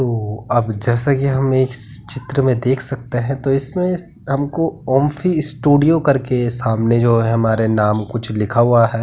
ओ अब जैसा यह हम इस चित्र में देख सकते हैं तो इसमें हमको ऊम्फी स्टूडियो करके सामने जो है हमारे नाम कुछ लिखा हुआ है।